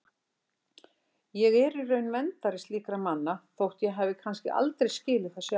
Ég er í raun verndari slíkra manna þótt ég hafi kannski aldrei skilið það sjálf.